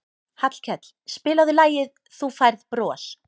Hallkell, spilaðu lagið „Þú Færð Bros“.